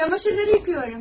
Paltarları yuyuram.